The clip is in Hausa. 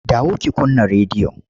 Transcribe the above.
Dawo ki kunna rediyon!